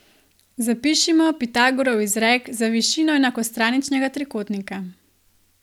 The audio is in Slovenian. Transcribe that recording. Zapišimo Pitagorov izrek za višino enakostraničnega trikotnika.